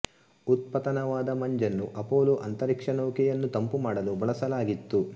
ಉತ್ಪತನವಾದ ಮಂಜನ್ನು ಅಪೋಲೋ ಅಂತರಿಕ್ಷ ನೌಕೆಯನ್ನು ತಂಪು ಮಾಡಲು ಬಳಸಲಾಗಿತ್ತು